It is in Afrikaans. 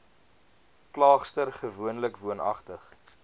klaagster gewoonlik woonagtig